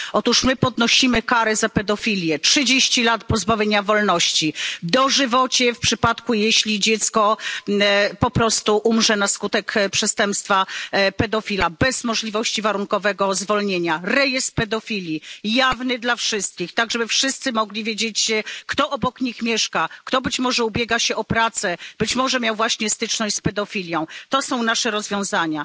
Otóż my podnosimy kary za pedofilię trzydzieści lat pozbawienia wolności, dożywocie w przypadku gdy dziecko umrze na skutek przestępstwa pedofila, bez możliwości warunkowego zwolnienia, rejestr pedofili jawny dla wszystkich, tak żeby wszyscy mogli wiedzieć, kto obok nich mieszka, kto ubiega się o pracę, być może miał właśnie styczność z pedofilią to są nasze rozwiązania.